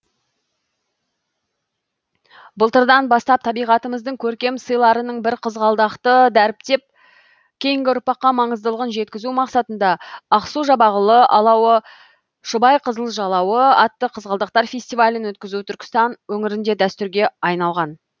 былтырдан бастап табиғатымыздың көркем сыйларының бірі қызғалдақты дәріптеп кейінгі ұрпаққа маңыздылығын жеткізу мақсатында ақсу жабағылы алауы шұбайқызыл жалауы атты қызғалдақтар фестивалін өткізу түркістан өңірінде дәстүрге айналған